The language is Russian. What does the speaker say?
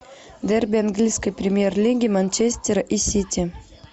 дерби английской премьер лиги манчестера и сити